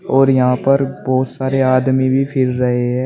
और यहां पर बहुत सारे आदमी भी फिर रहे हैं।